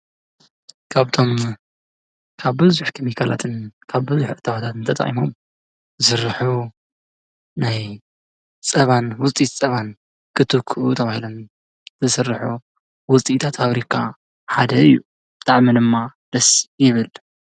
ካብቶም ካብ ቡዙሕ ከሚካላትን ካብ ብበዝሒ እታዎታትን ትጠቂሞም ዝስርሑ ናይ ፀባን ውፂኢታት ፀባን ክትክኡ ተባሂሎም ዝስርሑ ውጽኢታት ፋብሪካ ሓደ እዩ፣ ብጣዕሚ ድማ ደስ ይብል።